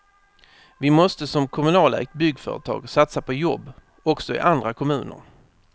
Vi måste som kommunalägt byggföretag satsa på jobb också i andra kommuner.